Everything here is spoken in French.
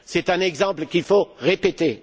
C'est un exemple qu'il faut répéter.